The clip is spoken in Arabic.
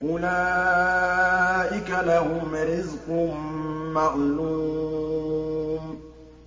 أُولَٰئِكَ لَهُمْ رِزْقٌ مَّعْلُومٌ